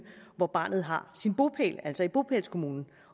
hvor barnet har sin bopæl altså i bopælskommunen